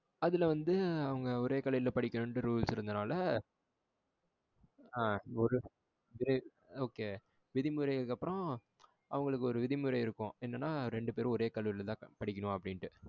அதுல வந்து அவங்க ஒரே கல்லூரியில படிக்கணும்னு rules இருந்ததுனால ஆ ஒரு okay. விதிமுறைக்கு அப்புறம் அவங்களுக்கு ஒரு விதிமுறை இருக்கும் என்னன்னா ரெண்டு பெரும் ஒரே கல்லூரியில் தான் படிக்கணும் அப்படின்னுட்டு.